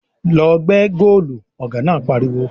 "Lọ gbẹ́ góòlù!" Ọ̀gá náà pariwo